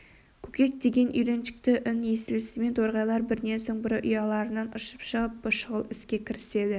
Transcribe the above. көкек деген үйреншікті үн естілісімен торғайлар бірінен соң бірі ұяларынан ұшып шығып шұғыл іске кіріседі